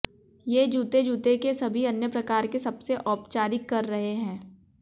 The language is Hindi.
ये जूते जूते के सभी अन्य प्रकार के सबसे औपचारिक कर रहे हैं